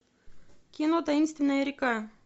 кино таинственная река